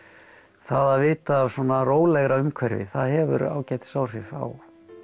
það að vita af svona rólegra umhverfi það hefur ágætis áhrif á